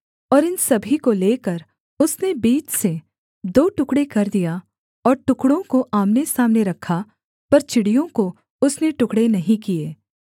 और इन सभी को लेकर उसने बीच से दो टुकड़े कर दिया और टुकड़ों को आमनेसामने रखा पर चिड़ियों को उसने टुकड़े नहीं किए